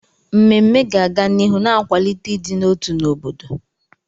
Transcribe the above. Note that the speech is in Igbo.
Mmemme ga-aga n'ihu na-akwalite ịdị n'otu n'obodo.